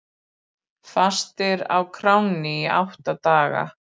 Fastir á kránni í átta daga